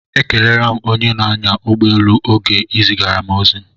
Ekelela m onye na-anya ụgbọ elu oge ị zigara m ozi